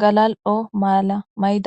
galal'o mala mayida